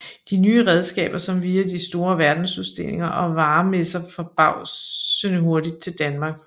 De nye redskaber kom via de store verdensudstillinger og varemesser forbavsende hurtigt til Danmark